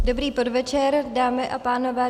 Dobrý podvečer, dámy a pánové.